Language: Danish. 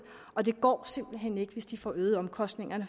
og det går simpelt hen ikke hvis de får øget deres omkostninger